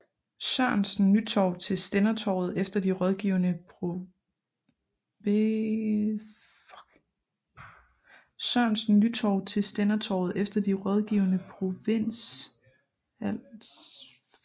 Sørensen Nytorv til Stændertorvet efter de rådgivende provinsialstænderforsamlinger i Det Gule Palæ